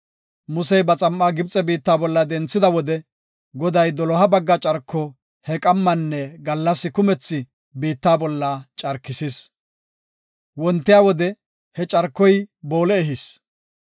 Musey ba xam7aa Gibxe biitta bolla denthida wode, Goday doloha bagga carko he qammanne gallas kumethi biitta bolla carkisis. Wontiya wode he carkoy boole ehis.